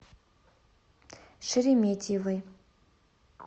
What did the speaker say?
шереметьевой